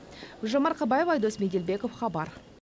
гүлжан марқабаева дос беделбеков хабар